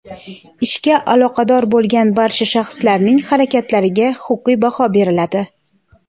ishga aloqador bo‘lgan barcha shaxslarning harakatlariga huquqiy baho beriladi.